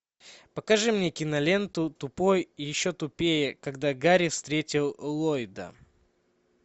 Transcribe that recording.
покажи мне киноленту тупой и еще тупее когда гарри встретил ллойда